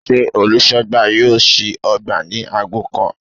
Sé olùsógbà yóò sí ogbà ni ago kan?